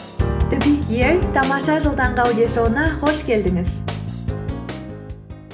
тамаша жыл таңғы аудиошоуына қош келдіңіз